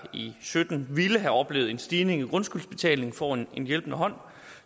sytten ville have oplevet en stigning i grundskyldsbetalingen får en hjælpende hånd